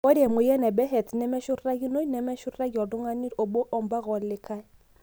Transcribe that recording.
Ore emoyian e Behet's nemeenashurtakinoi, meshurtakinoi toltungani obo ampaka olikae.